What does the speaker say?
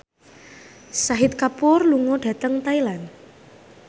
Shahid Kapoor lunga dhateng Thailand